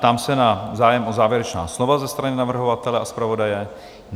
Ptám se na zájem o závěrečná slova ze strany navrhovatele a zpravodaje?